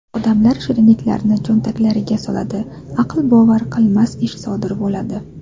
Odamlar shirinliklarni cho‘ntaklariga soladi… Aqlbovar qilmas ish sodir bo‘ladi.